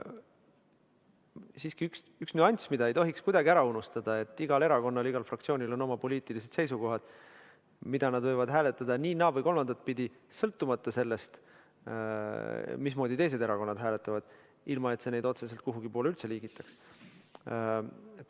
Siiski on üks nüanss, mida ei tohiks kuidagi ära unustada: igal erakonnal, igal fraktsioonil on oma poliitilised seisukohad ning nad võivad hääletada nii, naa või kolmandat pidi, sõltumata sellest, mismoodi teised erakonnad hääletavad, ilma et see neid otseselt kuhugi poole üldse liigitaks.